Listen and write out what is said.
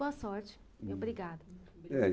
Boa sorte e obrigado. É.